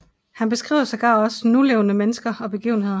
Han beskriver sågar også nulevende mennesker og begivenheder